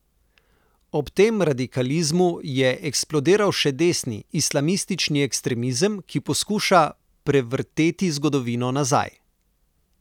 Ob tem radikalizmu je eksplodiral še desni, islamistični ekstremizem, ki poskuša prevrteti zgodovino nazaj.